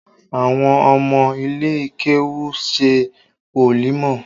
Àwọn ọmọ ilé kéwú ń ṣe wòlímọ̀